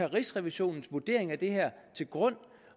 rigsrevisionens vurdering af det her til grund